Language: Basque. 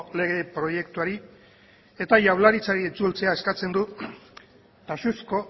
lege proiektuari eta jaurlaritzari itzultzea eskatzen du taxuzko